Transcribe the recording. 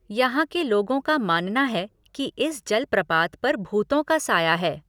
यहाँ के लोगों का मानना है कि इस जलप्रपात पर भूतों का साया है।